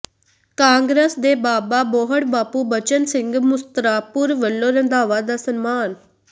ਕਾਂਗਰਸ ਦੇ ਬਾਬਾ ਬੋਹੜ ਬਾਪੂ ਬਚਨ ਸਿੰਘ ਮੁਸਤਰਾਪੁਰ ਵਲੋਂ ਰੰਧਾਵਾ ਦਾ ਸਨਮਾਨ